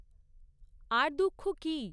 আর দুঃখ কী?